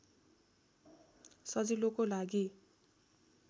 सजिलोको लागी